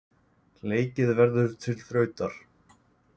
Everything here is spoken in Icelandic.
Leikið verður til þrautar.